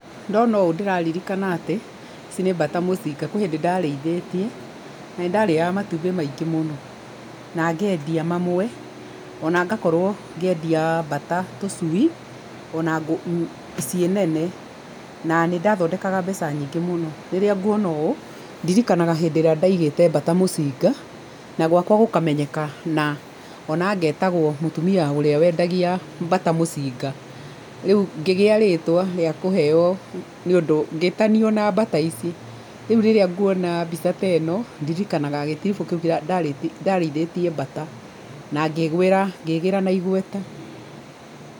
Ndona ũũ ndĩraririkana atĩ, ici nĩ mbata mũcinga. Kwĩ hĩndĩ ndarĩithĩtie, na nĩ ndarĩaga matumbĩ maingĩ mũno. Na ngendia mamwe, ona ngakorwo ngĩendia mbata tũcui, ona ciĩ nene. Na nĩ ndathondekaga mbeca nyingĩ mũno. Rĩrĩa nguona ũũ, ndirikanaga hĩndĩ ĩrĩa ndaigĩte mbata mũcinga, na gwakwa gũkamenyekana, ona ngetagwo mũtumia ũrĩa wendagia mbata mũcinga. Rĩu ngĩgĩa rĩtwa rĩa kũheo nĩ ũndũ ngĩtanio na mbata ici. Rĩu rĩrĩa nguona mbica ta ĩno, ndirikanaga gĩtiribũ kĩu ndarĩithĩtie mbata, na ngĩĩgwĩra ngĩgĩĩra na igweta.